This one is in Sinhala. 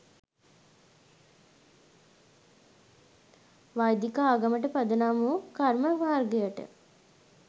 වෛදික ආගමට පදනම් වූ කර්ම මාර්ගයට